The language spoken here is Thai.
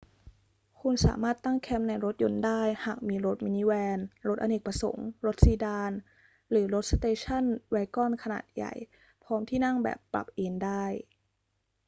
คุณสามารถตั้งแคมป์ในรถยนต์ได้หากมีรถมินิแวน รถอเนกประสงค์ รถซีดาน หรือรถสเตชันแวกอนขนาดใหญ่พร้อมที่นั่งแบบปรับเอนได้